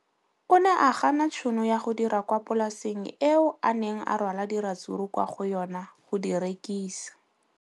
O ne a gana tšhono ya go dira kwa polaseng eo a neng rwala diratsuru kwa go yona go di rekisa.